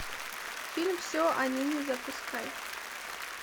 фильм все о нине запускай